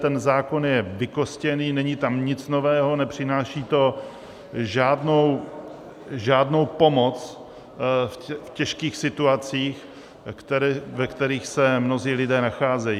Ten zákon je vykostěný, není tam nic nového, nepřináší to žádnou pomoc v těžkých situacích, ve kterých se mnozí lidé nacházejí.